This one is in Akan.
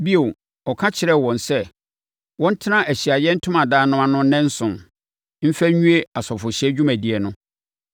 Bio, ɔka kyerɛɛ wɔn sɛ wɔntena Ahyiaeɛ Ntomadan no ano nnanson, mfa nwie asɔfohyɛ dwumadie no.